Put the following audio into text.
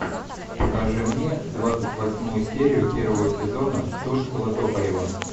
покажи мне двадцать восьмую серию первого сезона тульского токарева